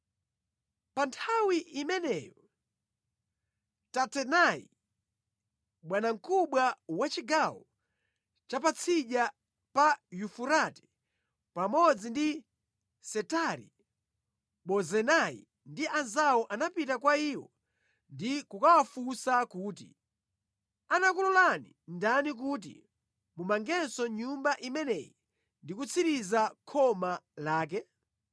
Pa nthawi imeneyo Tatenai, bwanamkubwa wa chigawo cha patsidya pa Yufurate pamodzi ndi Setari-Bozenai ndi anzawo anapita kwa iwo ndi kukawafunsa kuti, “Anakulolani ndani kuti mumangenso Nyumba imeneyi ndi kutsiriza khoma lake?”